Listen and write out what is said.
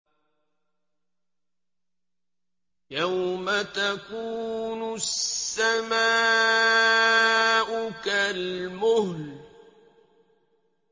يَوْمَ تَكُونُ السَّمَاءُ كَالْمُهْلِ